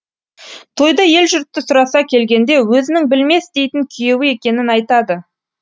тойда ел жұртты сұраса келгенде өзінің білмес дейтін күйеуі екенін айтады